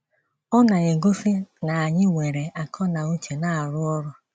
Ọ na - egosi na anyị nwere àkọ́ na ùchē na - arụ ọrụ.